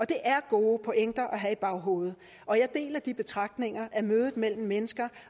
det er gode pointer at have i baghovedet og jeg deler de betragtninger at mødet mellem mennesker